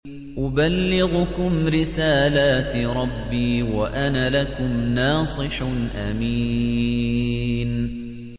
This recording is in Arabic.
أُبَلِّغُكُمْ رِسَالَاتِ رَبِّي وَأَنَا لَكُمْ نَاصِحٌ أَمِينٌ